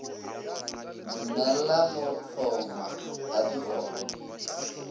dumella go hlongwa ga dikgoro